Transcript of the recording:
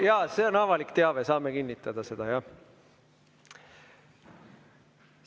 Jaa, see on avalik teave, saame kinnitada seda, jah.